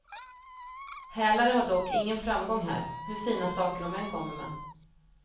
Hälare har dock ingen framgång här, hur fina saker de än kommer med.